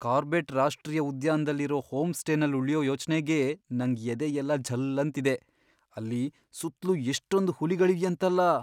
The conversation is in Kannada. ಕಾರ್ಬೆಟ್ ರಾಷ್ಟ್ರೀಯ ಉದ್ಯಾನ್ದಲ್ಲಿರೋ ಹೋಮ್ಸ್ಟೇನಲ್ ಉಳ್ಯೋ ಯೋಚ್ನೆಗೇ ನಂಗ್ ಎದೆಯೆಲ್ಲ ಝಲ್ಲಂತಿದೆ.. ಅಲ್ಲಿ ಸುತ್ಲೂ ಎಷ್ಟೊಂದ್ ಹುಲಿಗಳಿವ್ಯಂತಲ್ಲ!